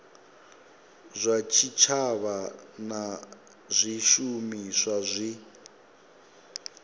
zwa tshitshavha na zwishumiswa zwi